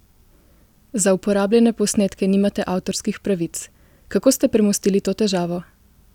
Za uporabljene posnetke nimate avtorskih pravic, kako ste premostili to težavo?